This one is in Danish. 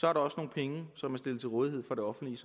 er der også nogle penge som er stillet til rådighed for det offentlige